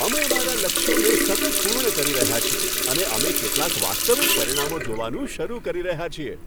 અમે અમારા લક્ષ્યોને સતત પૂર્ણ કરી રહ્યા છીએ અને અમે કેટલાક વાસ્તવિક પરિણામો જોવાનું શરૂ કરી રહ્યા છીએ.